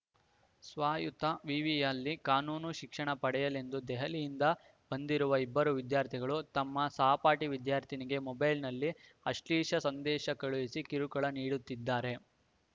ಸ್ವಾಯತ್ತ ವಿವಿಯಲ್ಲಿ ಕಾನೂನು ಶಿಕ್ಷಣ ಪಡೆಯಲೆಂದು ದೆಹಲಿಯಿಂದ ಬಂದಿರುವ ಇಬ್ಬರು ವಿದ್ಯಾರ್ಥಿಗಳು ತಮ್ಮ ಸಹಪಾಠಿ ವಿದ್ಯಾರ್ಥಿನಿಗೆ ಮೊಬೈಲ್‌ನಲ್ಲಿ ಆಶ್ಲೀಷ ಸಂದೇಶ ಕಳುಹಿಸಿ ಕಿರುಕುಳ ನೀಡುತ್ತಿದ್ದಾರೆ